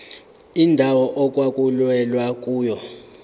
indawo okwakulwelwa kuyona